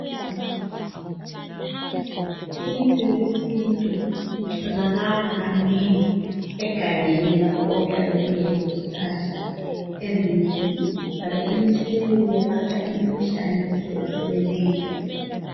Imithi yesintu itholakala kanengi egangeni lapho okuyabe kulezihlahla ezinengi ezelapha njalo imithi leyi yelapha imkhuhlane ehlukahlukeneyo.